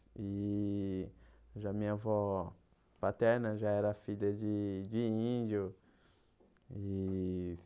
e já Minha avó paterna já era filha de de índio e.